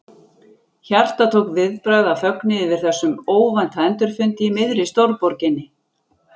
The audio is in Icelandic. Hjartað tók viðbragð af fögnuði yfir þessum óvænta endurfundi í miðri stórborginni.